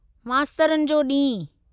मास्तरनि जो ॾींहुं